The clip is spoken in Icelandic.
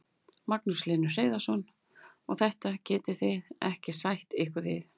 Magnús Hlynur Hreiðarsson: Og þetta getið þið ekki sætt ykkur við?